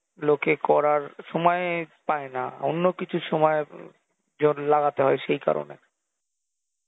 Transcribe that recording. লোকে করার সময়ই পায়না অন্য কিছুর সময় জন্যে লাগাতে হয় সেই কারণে